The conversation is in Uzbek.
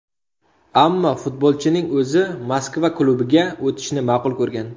Ammo futbolchining o‘zi Moskva klubiga o‘tishni ma’qul ko‘rgan.